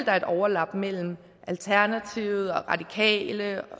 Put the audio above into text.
er et overlap mellem alternativet de radikale